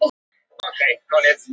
Oh, enn ein prufan.